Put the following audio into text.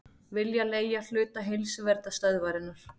Vilja leigja hluta Heilsuverndarstöðvarinnar